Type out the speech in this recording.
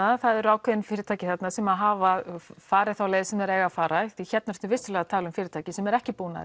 það eru ákveðin fyrirtæki þarna sem hafa farið þá leið sem þeir eiga að fara hérna ertu vissulega að tala um fyrirtæki sem eru ekki búin að